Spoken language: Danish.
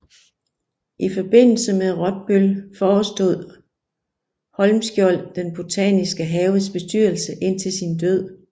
I forbindelse med Rottbøll forestod Holmskjold den botaniske haves bestyrelse indtil sin død